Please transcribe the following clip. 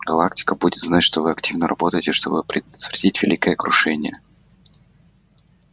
галактика будет знать что вы активно работаете чтобы предотвратить великое крушение